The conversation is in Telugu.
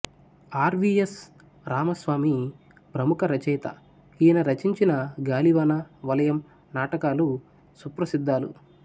ఆర్ వి ఎస్ రామస్వామి ఫ్రముఖ రచయిత ఈయన రచించిన గాలివాన వలయం నాటకాలు సుప్రసిధ్దాలు